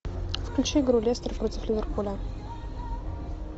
включи игру лестер против ливерпуля